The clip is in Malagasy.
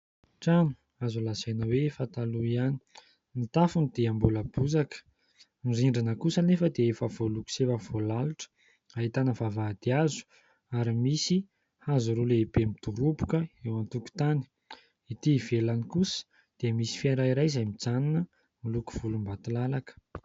Trano azo lazaina hoe efa taloha ihany ny tafiny dia mbola bozaka. Ny rindrina kosa anefa dia efa voa loko sy efa voa lalitra, ahitana vavahady hazo ary misy hazo roa lehibe midoromboka eo an-tokotany. Ety ivelany kosa dia misy fiara iray izay mijanona, miloko volom-batolalaka.